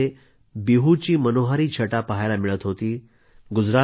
आसाममध्ये बिहूची मनोहारी छटा पहायला मिळत होती